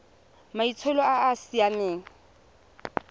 maitsholo a a sa siamang